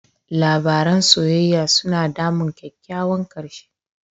Labaran soyayya suna damun kyakkyawan ƙarshe.